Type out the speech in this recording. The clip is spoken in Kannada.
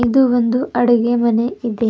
ಇದು ಒಂದು ಅಡುಗೆ ಮನೆ ಇದೆ.